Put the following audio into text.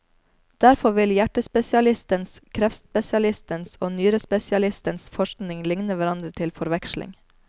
Derfor vil hjertespesialistens, kreftspesialistens og nyrespesialistens forskning ligne hverandre til forveksling.